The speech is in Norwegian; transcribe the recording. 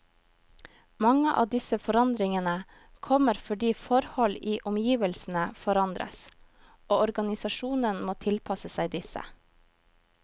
Mange av disse forandringene kommer fordi forhold i omgivelsene forandres, og organisasjonen må tilpasse seg disse.